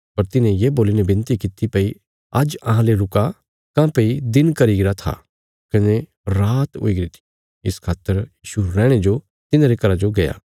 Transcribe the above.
पर तिन्हे ये बोल्लीने विनती किति भई आज्ज अहां ले रुका काँह्भई दिन घरी गरा था कने रात हुईगरी थी इस खातर यीशु रैहणे जो तिन्हारे घरा जो गया